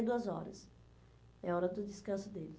duas horas. É a hora do descanso deles.